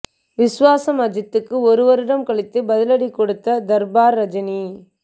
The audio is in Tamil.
விஸ்வாசம் அஜித்துக்கு ஒரு வருடம் கழித்து பதிலடி கொடுத்த தர்பார் ரஜினி